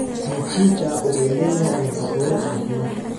Mchicha wuxuu leeyahay nafaqooyin caafimaad.